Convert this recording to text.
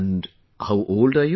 And how old are you